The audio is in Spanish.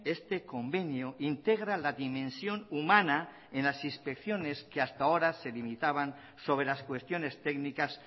este convenio integra la dimensión humana en las inspecciones que hasta ahora se limitaban sobre las cuestiones técnicas